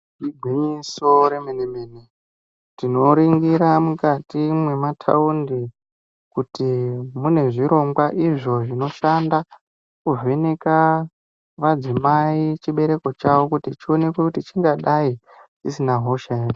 Igwinyiso re mene mene tino ringira mukati mwe mataundi kuti mune zvirongwa izvo zvino shanda ku vheneka madzimai chi bereko chavo kuti chionekwe chingadai chisina hosha ere.